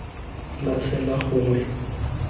la tsela gongwe tsela eo